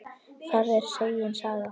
Það er segin saga.